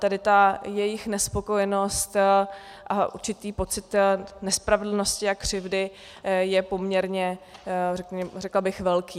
Tedy ta jejich nespokojenost a určitý pocit nespravedlnosti a křivdy jsou poměrně, řekla bych, velké.